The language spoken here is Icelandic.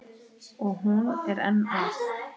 Og hún er enn að.